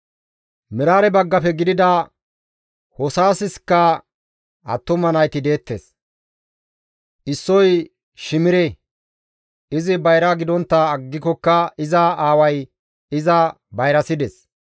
Meraare baggafe gidida Hoosaskka attuma nayti deettes; issoy Shimire; izi bayra gidontta aggikokka iza aaway iza bayrasides.